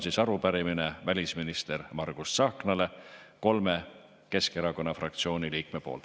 See on arupärimine välisminister Margus Tsahknale kolme Keskerakonna fraktsiooni liikme poolt.